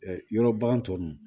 Ɛɛ yɔrɔ bagan tɔ nunnu